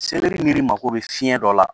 n'i mago bɛ fiɲɛ dɔ la